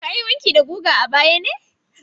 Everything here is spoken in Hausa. Ka yi wanki da guga a baya ne?